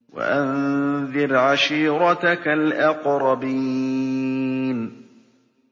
وَأَنذِرْ عَشِيرَتَكَ الْأَقْرَبِينَ